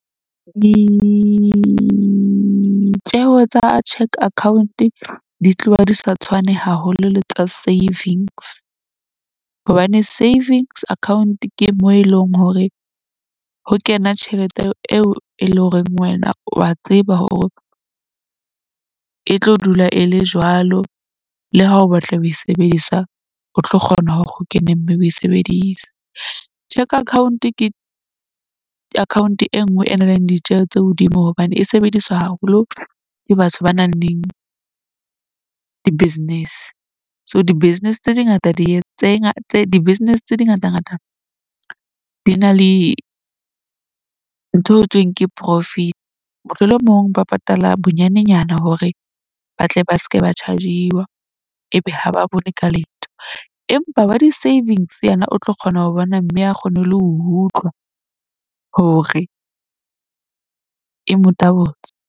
Tsa cheque account di tloha di sa tshwane haholo le tsa savings. Hobane savings account ke moo eleng hore ho kena tjhelete eo e leng horeng wena wa tseba hore e tlo dula e le jwalo. Le ha o batla ho e sebedisa, o tlo kgona hore o kene, mme o e sebedise. Cheque account ke account e nngwe e na leng ditjeho tse hodimo hobane e sebediswa haholo ke batho ba nang leng di-business. So, di-business tse di ngata di-business, tse di ngata ngata di na le ntho e ke profit. Mohlolomong ba patala bonyanenyana hore ba tle ba se ke ba chargiwa ebe ha ba bone ka letho. Empa wa di-savings yena o tlo kgona ho bona. Mme a kgone ho le ho utlwa hore e mo tabotse.